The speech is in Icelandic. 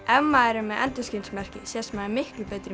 ef maður er með endurskinsmerki sést maður miklu betur í